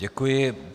Děkuji.